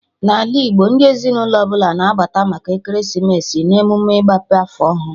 Na ala Igbo, ndị ezinụlọ ọbụla na-abata maka ekeresimesi na emụme ịgbape afọ ọhụrụ